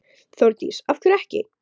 Þórdís: Af hverju ekki?